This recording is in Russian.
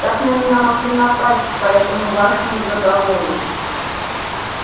так на меня могли напасть по этому вашему договору